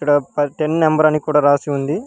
Ten number అని కూడా రాసి ఉంది.